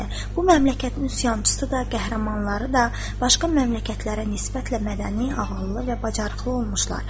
Bu məmləkətin üsyançısı da, qəhrəmanları da başqa məmləkətlərə nisbətlə mədəni, ağıllı və bacarıqlı olmuşlar.